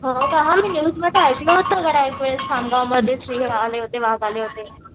हो का मी न्यूजमध्ये ऐकलं होतं खामगावमध्ये सिंह आले होते वाघ आले होते.